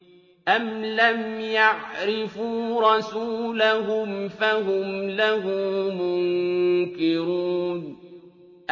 أَمْ لَمْ يَعْرِفُوا رَسُولَهُمْ فَهُمْ لَهُ مُنكِرُونَ